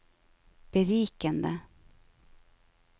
berikende